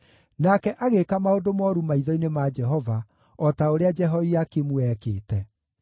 Nake agĩĩka maũndũ mooru maitho-inĩ ma Jehova, o ta ũrĩa Jehoiakimu eekĩte.